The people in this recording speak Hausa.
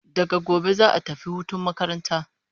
Daga gobe za'a tafi hutun makaranta.